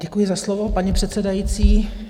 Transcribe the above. Děkuji za slovo, paní předsedající.